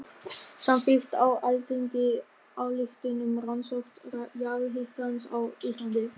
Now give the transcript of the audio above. Samþykkt á Alþingi ályktun um rannsókn jarðhitans á Íslandi.